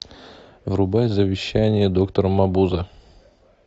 врубай завещание доктора мабузе